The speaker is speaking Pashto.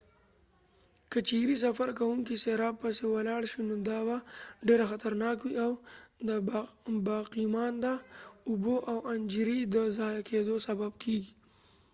که چیرې سفر کوونکي سراب پسې ولاړ شي نو دا به ډیره خطرناک وي او د باقیمانده اوبو او انرژۍ د ضایع کیدو سبب کیږي